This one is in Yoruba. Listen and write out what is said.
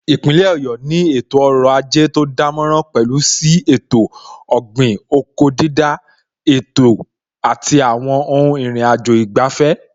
Ipinle Ọ̀yọ́ ni ètò ọrọ̀ ajé tó dánmọ́nrán, pẹ̀lú sí ètò ọ̀gbìn/oko dídá, ètò àti àwọn ohun ìrìnàjò ìgbafẹ́